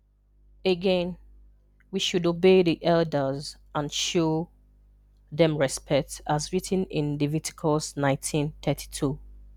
Again, we should obey the elders and show them respect as written in Leviticus 19:32.